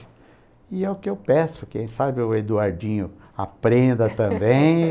E é o que eu peço, quem sabe o Eduardinho aprenda também.